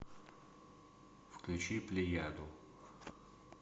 включи плеяду